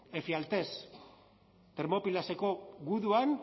efialtes termópilaseko guduan